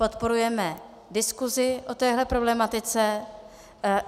Podporujeme diskuzi o téhle problematice.